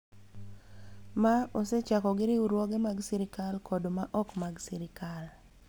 Ma osechako gi riwruoge mag sirkal kod ma ok mag sirkal.